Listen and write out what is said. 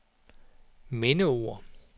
mindeord